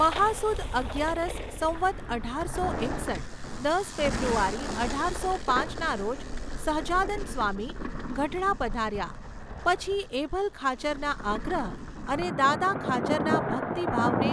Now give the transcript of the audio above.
મહા સુદ અગિયારસ સંવત અઢારસો એકસઠ દસ ફેબ્રુઆરી અઢારસો પાંચના રોજ સહજાનંદ સ્વામી ગઢડા પધાર્યા પછી એભલ ખાચરના આગ્રહ અને દાદા ખાચરના ભકિત ભાવને